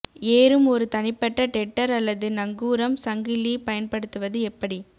ஏறும் ஒரு தனிப்பட்ட டெட்டர் அல்லது நங்கூரம் சங்கிலி பயன்படுத்துவது எப்படி